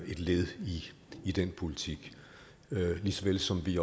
led i den politik lige så vel som vi